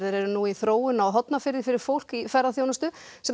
eru nú í þróun á Hornafirði fyrir fólk í ferðaþjónustu sem